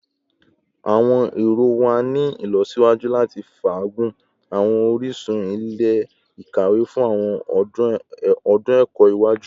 Awọn ero wa ni ilọsiwaju lati faagun awọn orisun ile-ikawe fun awọn ọdun ẹkọ iwaju